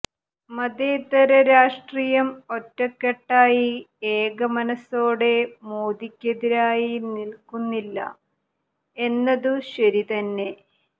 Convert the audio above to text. മതേതര രാഷ്ട്രീയം ഒറ്റക്കെട്ടായി ഏകമനസോടെ മോദിക്കെതിരായി നില്ക്കുന്നില്ല എന്നതു ശരിതന്നെ